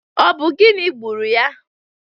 Ọ bụ gịnị gburu ya?